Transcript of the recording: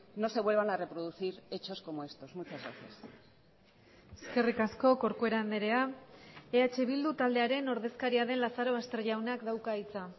no se vuelvan a reproducir hechos como estos muchas gracias eskerrik asko corcuera andrea eh bildu taldearen ordezkaria den lazarobaster jaunak dauka hitza